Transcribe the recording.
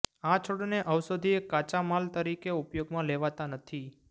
આ છોડને ઔષધીય કાચા માલ તરીકે ઉપયોગમાં લેવાતા નથી